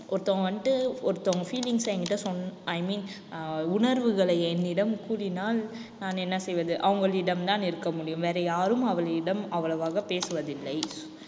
ஒருத்தவங்க வந்துட்டு ஒருத்தவங்க feelings அ என்கிட்ட சொன்~ i mean அஹ் உணர்வுகளை என்னிடம் கூறினால், நான் என்ன செய்வது அவங்களிடம்தான் இருக்க முடியும் வேற யாரும் அவளிடம் அவ்வளவாக பேசுவதில்லை